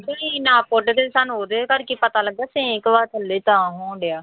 ਗੁੱਡਦੇ ਸਾਨੂੰ ਉਹਦੇ ਕਰਕੇ ਪਤਾ ਲੱਗਾ ਸਿਉਂਖ ਵਾ ਥੱਲੇ ਤਾਂ ਹੋਣ ਡਿਆ।